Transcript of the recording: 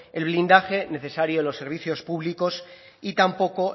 el blindaje necesario de los servicios públicos y tampoco